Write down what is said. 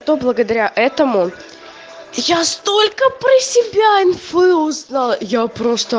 то благодаря этому я столько про себя инфы узнала я просто